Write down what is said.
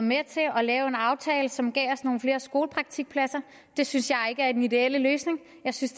med til at lave en aftale som gav nogle flere skolepraktikpladser det synes jeg ikke er den ideelle løsning jeg synes